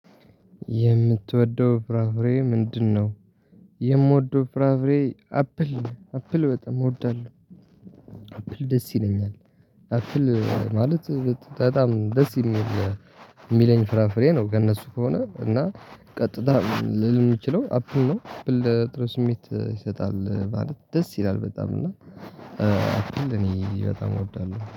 የምትወደው ፍራፍሬ ምንድነው? የምወደው ፍራፍሬ አፕል አፕል በጣም እወዳለሁ። አፕል ደስ ይለኛል። አፕል ማለት በጣም ደስ የሚል የሚለኝ ፍራፍሬ ነው። ከእነሱ ከሆነ እና ቀጥታ ልል የምችለው አፕል ነው። ብል ጥሩ ስሜት ይሰጣል ማለት ደስ ይላል በጣም እና አፕል እኔ በጣም እወዳለሁ